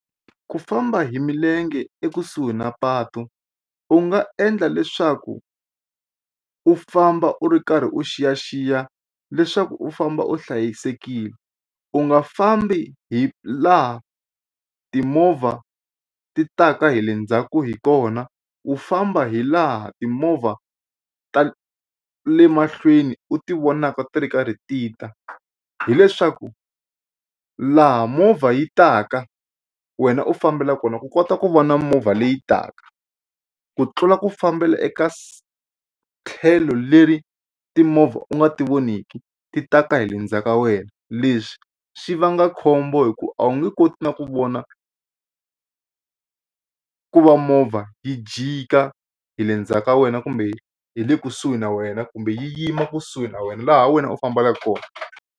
Ku famba hi milenge ekusuhi na patu u nga endla leswaku u famba u ri karhi u xiyaxiya leswaku u famba u hlayisekile. U nga fambi hi laha timovha ti taka hi le ndzhaku hi kona u famba hi laha timovha ta le mahlweni u ti vonaka ti ri karhi tita hileswaku u laha movha yi taka wena u fambela kona ku kota ku va na movha leyi taka ku tlula ku fambela eka tlhelo leri timovha u nga ti voneki ti taka hi le ndzhaku ka wena leswi swi vanga khombo hi ku a wu nge koti na ku vona ku va movha yi jika hi le ndzhaku ka wena kumbe hi le kusuhi na wena kumbe yi yima kusuhi na wena laha wena u fambelaka kona.